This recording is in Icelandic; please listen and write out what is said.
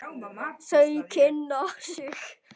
Þau kynna sig.